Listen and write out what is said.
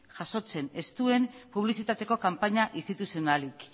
jasotzen ez duen publizitateko kanpaina instituzionalik